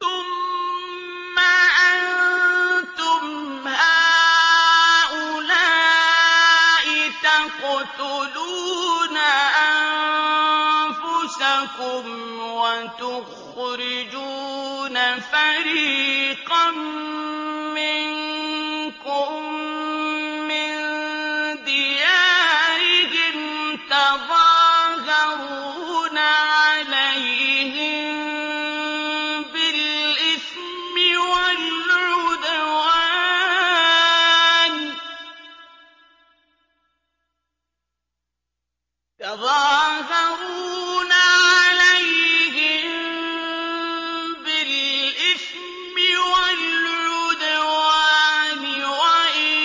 ثُمَّ أَنتُمْ هَٰؤُلَاءِ تَقْتُلُونَ أَنفُسَكُمْ وَتُخْرِجُونَ فَرِيقًا مِّنكُم مِّن دِيَارِهِمْ تَظَاهَرُونَ عَلَيْهِم بِالْإِثْمِ وَالْعُدْوَانِ وَإِن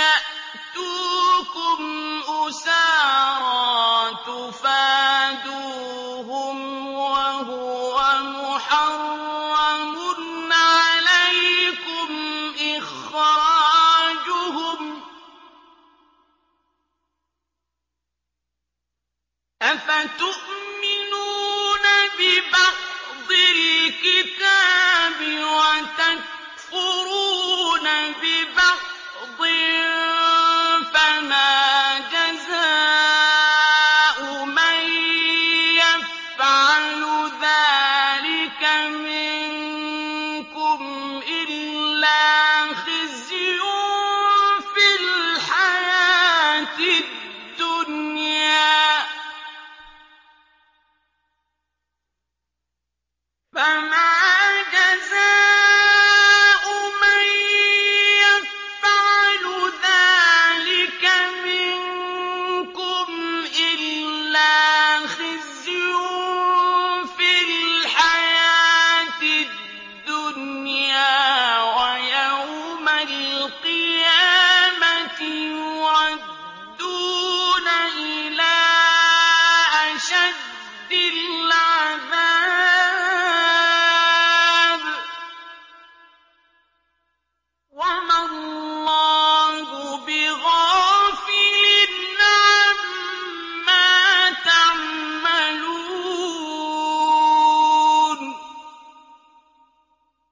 يَأْتُوكُمْ أُسَارَىٰ تُفَادُوهُمْ وَهُوَ مُحَرَّمٌ عَلَيْكُمْ إِخْرَاجُهُمْ ۚ أَفَتُؤْمِنُونَ بِبَعْضِ الْكِتَابِ وَتَكْفُرُونَ بِبَعْضٍ ۚ فَمَا جَزَاءُ مَن يَفْعَلُ ذَٰلِكَ مِنكُمْ إِلَّا خِزْيٌ فِي الْحَيَاةِ الدُّنْيَا ۖ وَيَوْمَ الْقِيَامَةِ يُرَدُّونَ إِلَىٰ أَشَدِّ الْعَذَابِ ۗ وَمَا اللَّهُ بِغَافِلٍ عَمَّا تَعْمَلُونَ